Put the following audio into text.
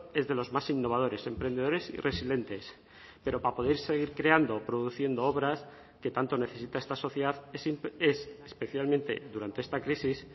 es de los más innovadores emprendedores y resilientes pero para poder seguir creando produciendo obras que tanto necesita esta sociedad es especialmente durante esta crisis